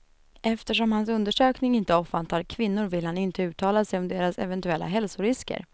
Eftersom hans undersökning inte omfattar kvinnor vill han inte uttala sig om deras eventuella hälsorisker.